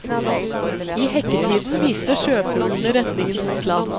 I hekketiden viste sjøfuglene retningen mot land.